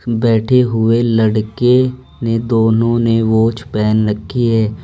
बैठे हुए लड़के ने दोनों ने वॉच पहन रखी है।